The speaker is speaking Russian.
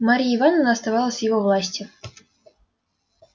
марья ивановна оставалась в его власти